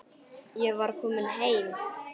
Ég var komin heim.